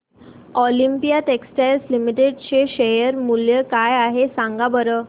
Olympia textiles limited चे share मूल्य काय आहे सांगा बरं